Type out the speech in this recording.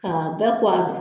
Ka bɛɛ ko